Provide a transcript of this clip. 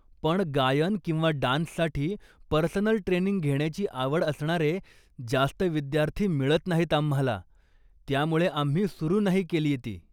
पण गायन किंवा डान्ससाठी पर्सनल ट्रेनिंग घेण्याची आवड असणारे जास्त विद्यार्थी मिळत नाहीत आम्हाला, त्यामुळे आम्ही सुरू नाही केलीय ती.